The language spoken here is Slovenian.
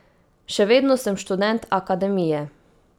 Še vedno sem študent Akademije.